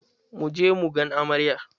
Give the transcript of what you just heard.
Mu je mu gan amaryar